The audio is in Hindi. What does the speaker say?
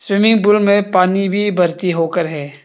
स्विमिंग पूल में पानी भी होकर है।